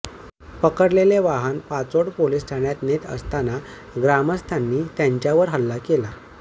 पकडलेले वाहन पाचोड पोलीस ठाण्यात नेत असताना ग्रामस्थांनी त्यांच्यावर हल्ला केला